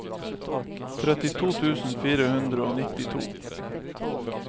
trettito tusen fire hundre og nittito